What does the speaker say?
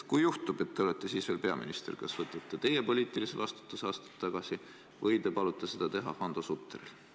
Kui juhtub, et te olete sel ajal veel peaminister, siis kas te võtate poliitilise vastutuse ja astute tagasi või palute seda teha Hando Sutteril?